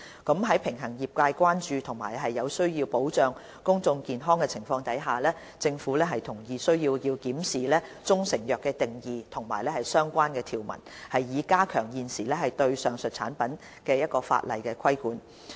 在必須平衡業界的關注和有需要保障公眾健康的情況下，政府同意有需要檢視"中成藥"的定義和相關條文，以加強現時對上述產品的法例規管。